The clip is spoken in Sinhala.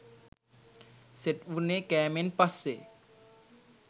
සෙට් වුණේ කෑමෙන් පස්සෙ